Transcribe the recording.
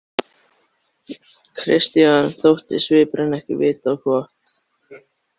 Christian þótti svipurinn ekki vita á gott.